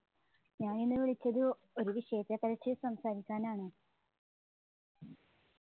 ഞാൻ ഇന്ന് വിളിച്ചത് ഒരു വിശേഷ സംസാരിക്കാനാണ്.